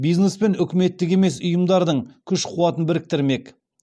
бизнес пен үкіметтік емес ұйымдардың күш қуатын біріктірмек